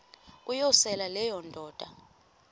uyosele leyo indoda